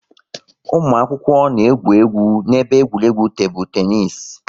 Ụmụ akwụkwọ na-egwu egwu n'ebe egwuregwu tebụl teenis